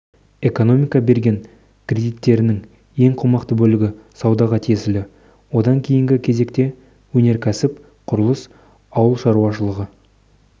экономика берген кредиттерінің ең қомақты бөлігі саудаға тиесілі одан кейінгі кезекте өнеркәсіп құрылыс ауыл шаруашылығы